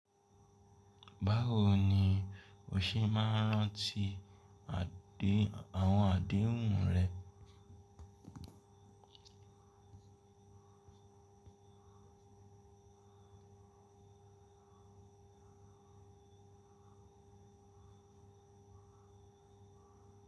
Bawo ni o se maa n ranti àwon adehun rẹ.